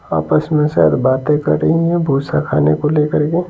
आपस में शायद बातें कर रही हैं भूसा खाने को लेकर के।